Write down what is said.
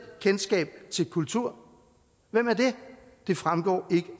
kendskab til kultur hvem er det det fremgår ikke